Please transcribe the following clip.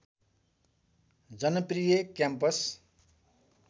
जनप्रिय campus